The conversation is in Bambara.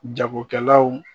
Jagokɛlaw